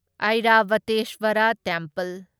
Airavatesvara temple